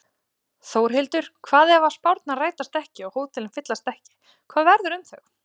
Þórhildur: Hvað ef að spárnar rætast ekki og hótelin fyllast ekki, hvað verður um þau?